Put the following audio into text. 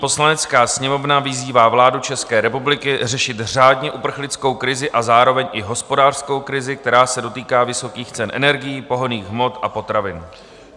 Poslanecká sněmovna vyzývá vládu České republiky řešit řádně uprchlickou krizi a zároveň i hospodářskou krizi, která se dotýká vysokých cen energií, pohonných hmot a potravin.